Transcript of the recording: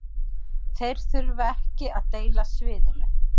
Þeir þurfa ekki að deila sviðinu